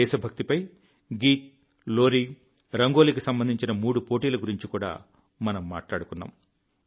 దేశభక్తిపై గీత్ లోరీ రంగోలికి సంబంధించిన మూడు పోటీల గురించి కూడా మనం మాట్లాడుకున్నాం